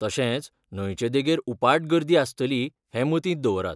तशेंच, न्हंयचे देगेर उपाट गर्दी आसतली हें मतींत दवरात.